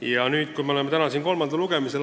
Ja täna siis oleme kolmandal lugemisel.